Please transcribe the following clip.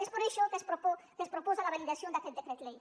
és per això que es proposa la validació d’aquest decret llei